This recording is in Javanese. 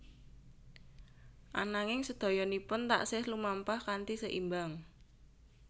Ananging sedayanipun taksih lumampah kanthi seimbang